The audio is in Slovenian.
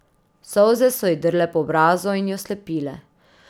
Solze so ji drle po obrazu in jo slepile.